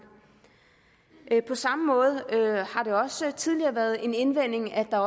på samme måde har det også tidligere været en indvending at